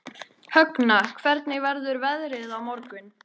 Högna, hvernig verður veðrið á morgun?